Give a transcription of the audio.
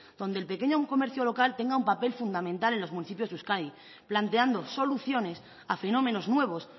donde el pequeño comercio local tenga un papel fundamental en los municipios de euskadi planteando soluciones a fenómenos nuevos